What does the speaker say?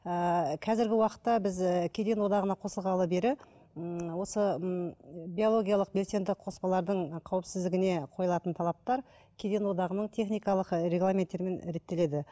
ыыы қазіргі уақытта біз ііі кеден одағына қосылғалы бері ммм осы ммм биологиялық белсенді қоспалардың қауіпсіздігіне қойылатын талаптар кеден одағының техникалық ы регламенттерімен реттеледі